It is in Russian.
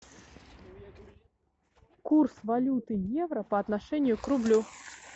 курс валюты евро по отношению к рублю